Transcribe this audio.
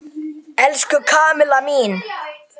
Elsku Kamilla mín.